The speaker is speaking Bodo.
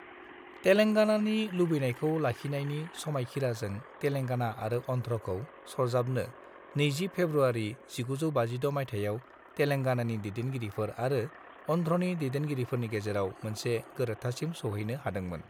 तेलेंगानानि लुबैनायखौ लाखिनायनि समायखिराजों तेलेंगाना आरो अन्ध्रखौ सरजाबनो 20 फेब्रुआरि 1956 मायथाइयाव तेलेंगानानि दैदेनगिरिफोर आरो आरो अन्ध्रनि दैदेनगिरिफोरनि गेजेराव मोनसे गोरोबथासिम सौहैनो हादोंमोन।